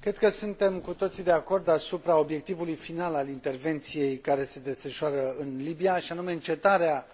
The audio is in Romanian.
Cred că suntem cu toții de acord asupra obiectivului final al intervenției care se desfășoară în Libia, și anume încetarea